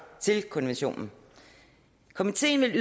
til konventionen komiteen vil